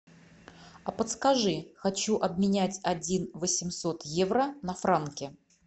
а подскажи хочу обменять один восемьсот евро на франки